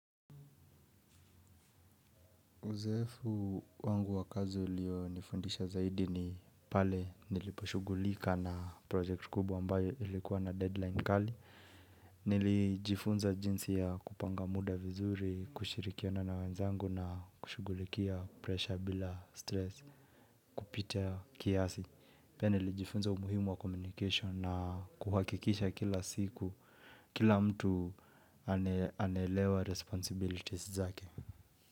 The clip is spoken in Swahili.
Uzoefu wangu wa kazi ulionifundisha zaidi ni pale niliposhugulika na project kubwa ambayo ilikuwa na deadline kali. Nilijifunza jinsi ya kupanga muda vizuri, kushirikiana na wenzangu na kushugulikia presha bila stress, kupita kiasi. Pia nilijifunza umuhimu wa communication na kuhakikisha kila siku kila mtu anelewa responsibilities zake.